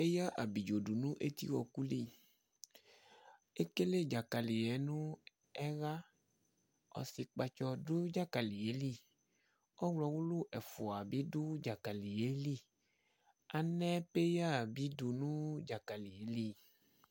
Eya abidzo du nʋ eti ɔku li Ekele dzakali nʋ ɛɣa Ɔsikpatsɔ dʋ dzakali yɛ li Ɔwlɔ wʋlu ɛfʋa bi dʋ dzakali yɛ li Anɛ peya bi du nʋ dzakali yɛ li